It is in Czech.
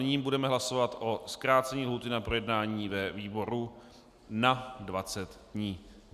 Nyní budeme hlasovat o zkrácení lhůty na projednání ve výboru na 20 dní.